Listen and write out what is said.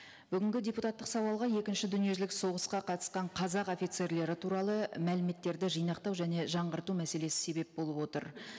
бүгінгі депутаттық сауалға екінші дүниежүзілік соғысқа қатысқан қазақ офицерлері туралы мәліметтерді жинақтау және жаңғырту мәселесі себеп болып отыр